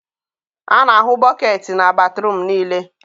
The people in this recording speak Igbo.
a na-ahụ bọketị na batruum niile.